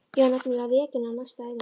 Ég var nefnilega rekin á næstu æfingu.